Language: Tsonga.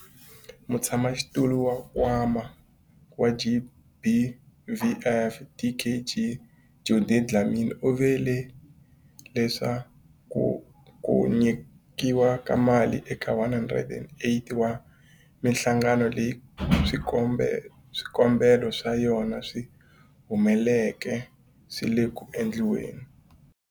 Mutshamaxitulu wa Nkwama wa GBVF, Dkd Judy Dlamini, u vule leswaku ku nyikiwa ka mali eka 108 wa mihlangano leyi swikombelo swa yona swi humeleleke swi le ku endliweni.